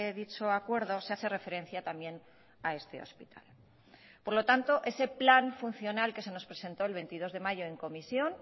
dicho acuerdo se hace referencia también a este hospital por lo tanto ese plan funcional que se nos presentó el veintidós de mayo en comisión